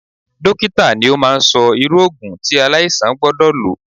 Dókítà ni ó máa ń sọ irú Ògùn tí aláìsàn gbọ́dọ̀ lọ.